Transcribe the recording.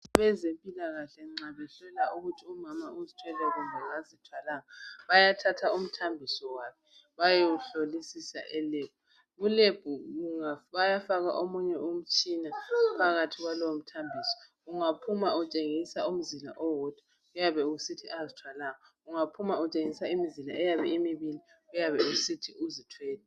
Abezempilakahle nxa besola ukuthi umama uzithwele kumbe kazithwalanga bayathatha umthambiso wakhe bayewuhlolisisa elebhu. Kulebhu bayafaka omunye umtshina phakathi kwalowo mthambiso ungaphuma umtshengisa umzila owodwa kuyabe kusithi kazithwalanga kungaphuma utshengisa umzila eyabe imibili kuyabe kusithi uzithwele.